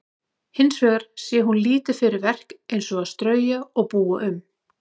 Hins vegar sé hún lítið fyrir verk eins og að strauja og búa um.